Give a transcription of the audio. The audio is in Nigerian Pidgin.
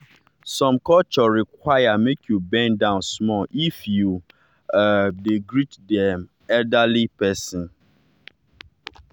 some culture require make you bend down small if you um dey greet dem elderly pesin.